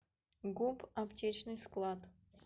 гуп аптечный склад